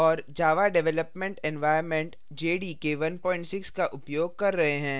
java development environment jdk 16 का उपयोग कर रहे हैं